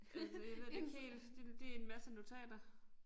Altså jeg ved det ikke helt det det en masse notater